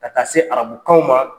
Ka taa se arabukanw ma